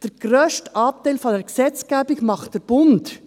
Der grösste Anteil der Gesetzgebung macht der Bund.